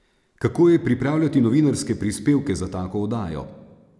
Kako je pripravljati novinarske prispevke za tako oddajo?